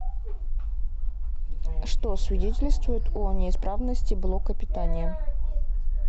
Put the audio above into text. что свидетельствует о неисправности блока питания